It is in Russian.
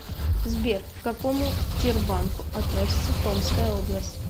сбер к какому тербанку относится томская область